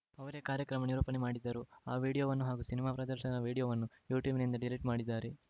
ಅವರೇ ಕಾರ್ಯಕ್ರಮ ನಿರೂಪಣೆ ಮಾಡಿದ್ದರು ಆ ವಿಡಿಯೋವನ್ನು ಹಾಗೂ ಸಿನಿಮಾ ಪ್ರದರ್ಶನದ ವಿಡಿಯೋವನ್ನು ಯೂಟ್ಯೂಬಿನಿಂದ ಡಿಲೀಟ್‌ ಮಾಡಿದ್ದಾರೆ